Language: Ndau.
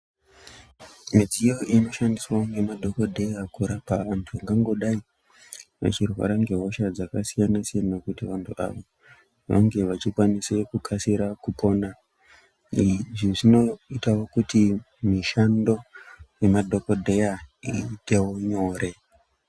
Midziyo inoshandiswa ngemadhokodheya kurapa antu vangangodai vechirwara ngehosha dzakasiyanasiyana kuti vantu ava vange vechikwanise kukasira kupona izvi zvinoitawo kuti mishando yemadhokodheya iitewo nyore.